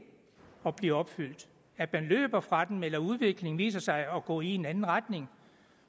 at blive opfyldt at man løber fra dem eller at udviklingen viser sig at gå i en anden retning